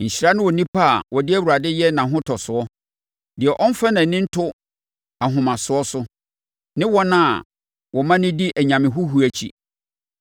Nhyira ne onipa a ɔde Awurade yɛ nʼahotɔsoɔ, deɛ ɔmfa nʼani nto ahomasoɔ so, ne wɔn a wɔmane di anyame huhuo akyi.